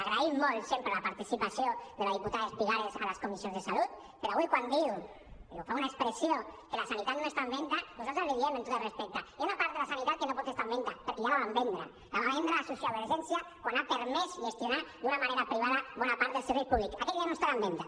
agraïm molt sempre la participació de la diputada espigares a les comissions de salut però avui quan diu fa una expressió que la sanitat no està en venda nosaltres li diem amb tot el respecte hi ha una part de la sanitat que no pot estar en venda perquè ja la vam vendre la va vendre la sociovergència quan ha permès gestionar d’una manera privada bona part dels serveis públics aquella ja no estarà en venda